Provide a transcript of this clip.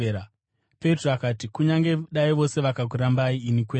Petro akati, “Kunyange dai vose vakakurambai, ini kwete.”